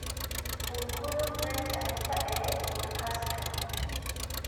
u gudub qaybta xigta ee podcast-kan